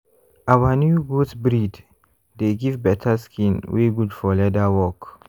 our new goat breed dey give better skin wey good for leather work.